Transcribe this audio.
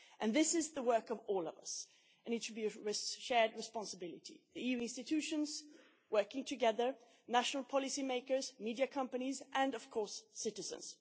This is the work of all of us, and it should be a shared responsibility of the EU institutions working together, national policymakers, media companies and of course citizens.